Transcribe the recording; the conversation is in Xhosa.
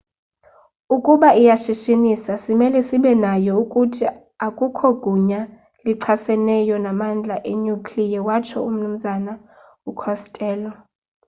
"ukuba iyashishinisa simele sibe nayo. ukuthi, akukho gunya lichaseneyo namandla enuclear watsho umnu costello